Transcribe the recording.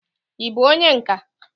ị bụ onye nka?